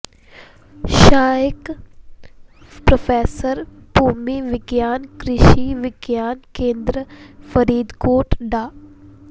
ਸਹਾਇਕ ਪ੍ਰੋਫ਼ੈਸਰ ਭੂਮੀ ਵਿਗਿਆਨ ਕ੍ਰਿਸ਼ੀ ਵਿਗਿਆਨ ਕੇਂਦਰ ਫ਼ਰੀਦਕੋਟ ਡਾ